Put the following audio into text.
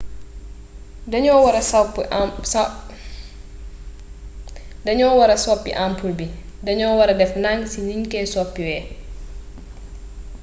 daño wara sopi ampul bi daño wara def dank si ñu koy soppiwee